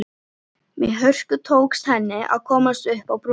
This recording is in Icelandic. Með hörku tókst henni að komast upp á brúnina.